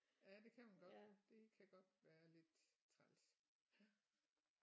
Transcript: Ja det kan man godt det kan godt være lidt træls ja